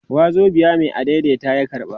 wazobiya Mai adaidaita ya karba